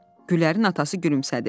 Gülərin atası gülümsədi.